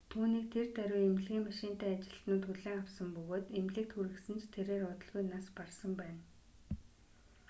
түүнийг тэр даруй эмнэлгийн машинтай ажилтнууд хүлээн авсан бөгөөд эмнэлэгт хүргэсэн ч тэрээр удалгүй нас барсан байна